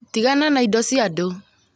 Tĩgana na indo cia andũ